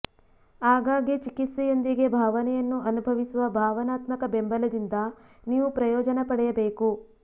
ಆಗಾಗ್ಗೆ ಚಿಕಿತ್ಸೆಯೊಂದಿಗೆ ಭಾವನೆಯನ್ನು ಅನುಭವಿಸುವ ಭಾವನಾತ್ಮಕ ಬೆಂಬಲದಿಂದ ನೀವು ಪ್ರಯೋಜನ ಪಡೆಯಬೇಕು